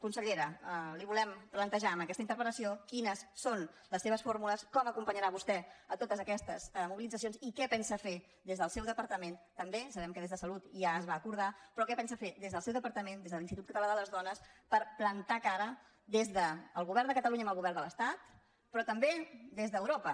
consellera li volem plantejar amb aquesta interpellació quines són les seves fórmules com acompanyarà vostè totes aquestes mobilitzacions i què pensa fer des del seu departament també sabem que des de salut ja es va acordar però què pensa fer des del seu departament des de l’institut català de les dones per plantar cara des del govern de catalunya al govern de l’estat però també des d’europa